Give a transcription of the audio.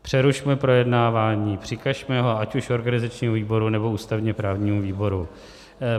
Přerušme projednávání, přikažme ho ať už organizačnímu výboru, nebo ústavně-právnímu výboru.